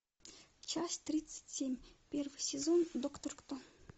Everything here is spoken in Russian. часть тридцать семь первый сезон доктор кто